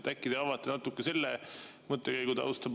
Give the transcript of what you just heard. Äkki te avate natuke selle mõttekäigu tausta?